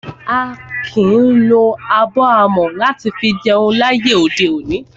A kìí lo abọ́ amọ̀ láti fi jẹun láyé òde òní.